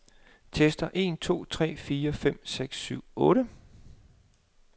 Tester en to tre fire fem seks syv otte.